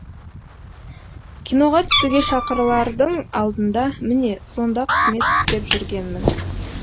киноға түсуге шақырылардың алдында міне сонда қызмет істеп жүргенмін